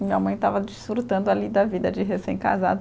Minha mãe estava desfrutando ali da vida de recém-casada.